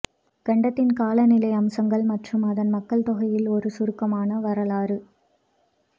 கண்டத்தின் காலநிலை அம்சங்கள் மற்றும் அதன் மக்கள் தொகையில் ஒரு சுருக்கமான வரலாறு